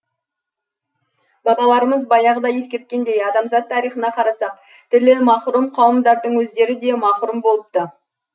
бабаларымыз баяғыда ескерткендей адамзат тарихына қарасақ тілі мақұрым қауымдардың өздері де мақұрым болыпты